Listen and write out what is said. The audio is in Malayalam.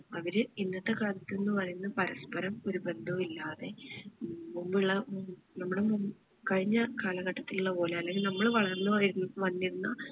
അവര് ഇന്നത്തെ കാലത്ത് എന്ന് പറയുന്നത് പരസ്പരം ഒരു ബന്ധവുമില്ലാതെ ഏർ മുമ്പുള്ള ഏർ നമ്മുടെ മു കഴിഞ്ഞ കാലഘട്ടത്തിൽ ഇല്ല പോലെ അല്ലെങ്കിൽ നമ്മൾ വളർന്ന് വേര് വന്നിരുന്ന